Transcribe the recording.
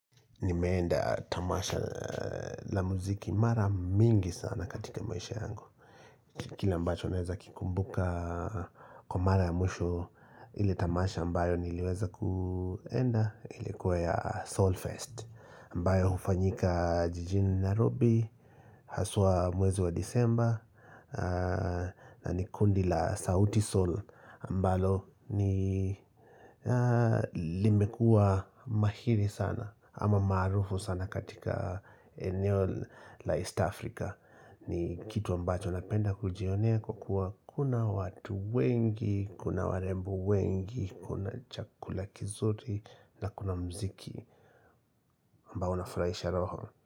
Nimeenda tamasha la muziki mara mingi sana katika maisha yangu Kila ambacho ninaweza kikumbuka kwa mara ya mwisho ile tamasha ambayo niliweza kuenda ilikuwe ya Soul Fest ambayo hufanyika jijini Nairobi haswa mwezi wa Disemba na ni kundi la sauti Soul ambalo ni limekua mahiri sana ama maarufu sana katika eneo la East Africa ni kitu ambacho napenda kujionea kwa kuwa kuna watu wengi, kuna warembo wengi, kuna chakula kizuri na kuna mziki ambao unafurahisha roho.